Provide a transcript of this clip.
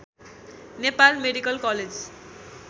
Nepal medical college